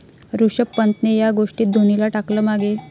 ऋषभ पंतने 'या' गोष्टीत धोनीला टाकलं मागे